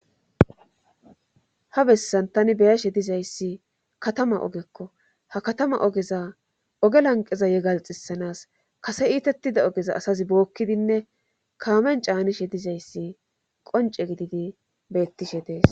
Ha bessan tani beyashe dizayssi katama ogekko ha katama ogeza oge lanqeza yegalxisanas kase iitettida ogeza asazi bookkidinne kaamen caanishe dizayssi qonce gididi beettishe dees.